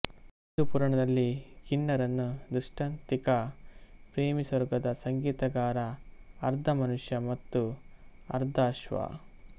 ಹಿಂದೂ ಪುರಾಣದಲ್ಲಿ ಕಿನ್ನರನು ದೃಷ್ಟಾಂತಿಕ ಪ್ರೇಮಿ ಸ್ವರ್ಗದ ಸಂಗೀತಗಾರ ಅರ್ಧ ಮನುಷ್ಯ ಮತ್ತು ಅರ್ಧ ಅಶ್ವ